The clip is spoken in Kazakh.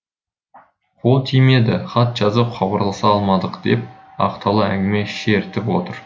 қол тимеді хат жазып хабарласа алмадық деп ақтала әңгіме шертіп отыр